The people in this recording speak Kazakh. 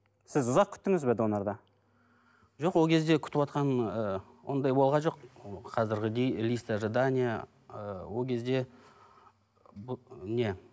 сіз ұзақ күттіңіз бе донорды жоқ ол кезде күтіватқан ыыы ондай болған жоқ ол қазіргідей лист ожидание ыыы ол кезде не